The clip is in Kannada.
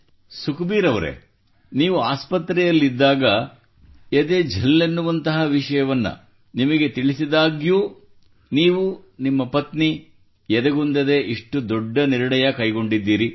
ಸುಖಬೀರ್ ಅವರೆ ನೀವು ಆಸ್ಪತ್ರೆಯಲ್ಲಿದ್ದಾಗ ಎದೆ ಝಲ್ಲೆನ್ನುವಂತಹ ವಿಷಯವನ್ನು ನಿಮಗೆ ತಿಳಿಸಿದಾಗ್ಯೂ ನೀವು ಮತ್ತು ನಿಮ್ಮ ಪತ್ನಿ ಎದೆಗುಂದದೆ ಇಷ್ಟು ದೊಡ್ಡ ನಿರ್ಣಯ ಕೈಗೊಂಡಿರಿ